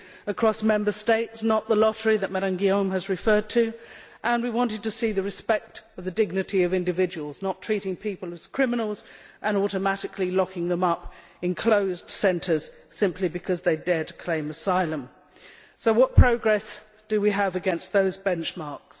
across Member States, not the lottery that Ms Guillaume has referred to, and we wanted to see the respect of the dignity of individuals, not treating people as criminals and automatically locking them up in closed centres simply because they dared to claim asylum. So what progress do we have against those benchmarks?